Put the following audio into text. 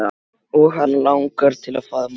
Og hana langar til að faðma